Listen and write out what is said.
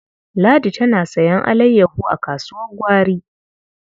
Ladi tana sayen alayyaho a kasuwar gwari.